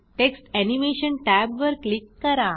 text animation टॅबवर click करा